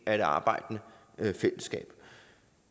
af det arbejdende fællesskab